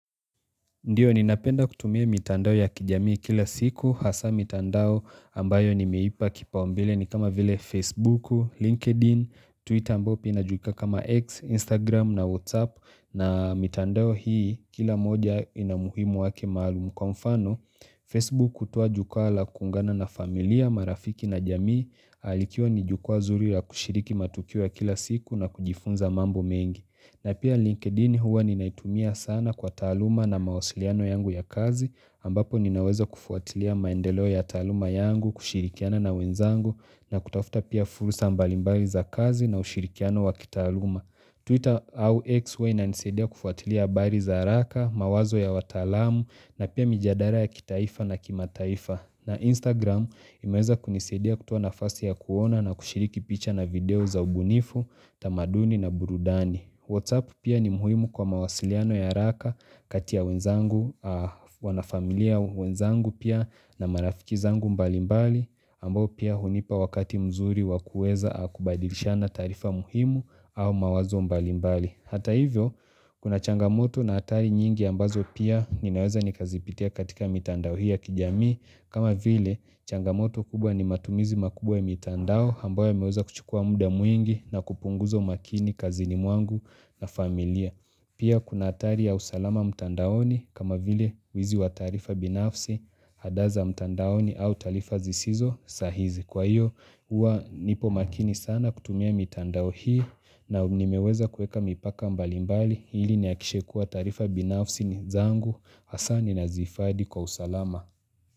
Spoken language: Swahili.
Ndio ninapenda kutumia mitandao ya kijamii kila siku hasa mitandao ambayo ni meipa kipaombele ni kama vile Facebooku, LinkedIn, Twitter ambayo pia inajulikana kama X, Instagram na WhatsApp na mitandao hii kila moja ina umuhimu wake maalumu kwa mfano. Facebook hutoa jukua la kuungana na familia marafiki na jamii likiwa ni jukua nzuri ya kushiriki matukio ya kila siku na kujifunza mambo mengi. Na pia linkedin huwa ninaitumia sana kwa taaluma na mawasiliano yangu ya kazi ambapo ninaweza kufuatilia maendeleo ya taaluma yangu kushirikiana na wenzangu na kutafuta pia fursa mbalimbali za kazi na ushirikiano wa kitaaluma. Twitter au X huwa inanisadia kufuatilia habari za haraka, mawazo ya wataalamu na pia mijadara ya kitaifa na kimataifa. Na Instagram imeweza kunisadia kutoa nafasi ya kuona na kushiriki picha na video za ubunifu, tamaduni na burudani. WhatsApp pia ni muhimu kwa mawasiliano ya haraka kati ya wenzangu, wanafamilia wenzangu pia na marafiki zangu mbalimbali, ambao pia hunipa wakati mzuri wakuweza kubadilishana tarifa muhimu au mawazo mbalimbali. Hata hivyo, kuna changamoto na hatari nyingi ambazo pia ninaweza nikazipitia katika mitandao hii ya kijami, kama vile changamoto kubwa ni matumizi makubwa ya mitandao ambayo imeweza kuchukua muda mwingi na kupunguzo umakini kazini mwangu na familia pia kuna hatari ya usalama mtandaoni kama vile wizi wa taarifa binafsi hadaa za mtandaoni au taarifa zisizo sahihi kwa hiyo huwa nipo makini sana kutumia mitandao hii na nimeweza kuweka mipaka mbalimbali ili nihakikishe kuwa taarifa binafsi ni zangu hasa ni na zihifadhi kwa usalama.